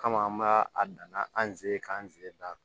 Kama an b'a a dan na an ze k'an ze na